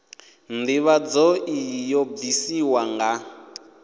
ndivhadzo iyi yo bvisiwa nga